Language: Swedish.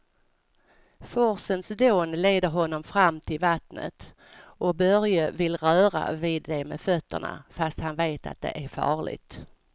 Forsens dån leder honom fram till vattnet och Börje vill röra vid det med fötterna, fast han vet att det är farligt.